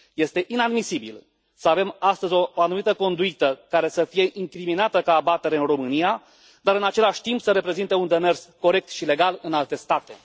Este inadmisibil să avem astăzi o anumită conduită care să fie incriminată ca abatere în România, dar, în același timp, să reprezinte un demers corect și legal în alte state.